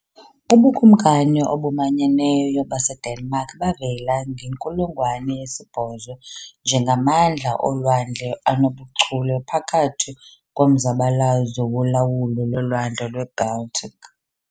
UBukumkani obumanyeneyo baseDenmark bavela ngenkulungwane yesibhozo njengamandla olwandle anobuchule phakathi komzabalazo wolawulo loLwandle lweBaltic.